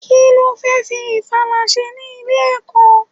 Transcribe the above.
Kí lo fẹ́ fi ìfala ṣe ní ilé-ẹ̀kọ́?